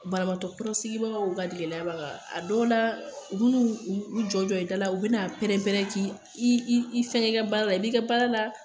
Banabagatɔ sigibagaw ka jiginna ba kan a dɔw la u bin'u u jɔ i da la u bɛna pɛrɛn pɛrɛn k'i i fɛn kɛ i ka baara la i b'i ka baara la